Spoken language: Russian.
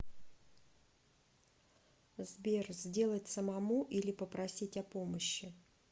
сбер сделать самому или попросить о помощи